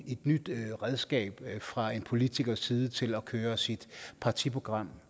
redskab fra en politikers side til at køre sit partiprogram